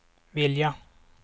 vilja